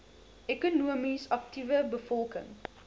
ekonomies aktiewe bevolking